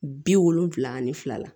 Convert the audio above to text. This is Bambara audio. Bi wolonfila ani fila la